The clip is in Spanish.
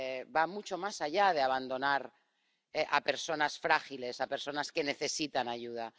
va mucho más allá de abandonar a personas frágiles, a personas que necesitan ayuda.